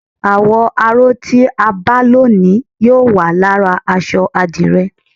àwò̩ aró tí a bá ló ni yóò wà lára aṣọ adire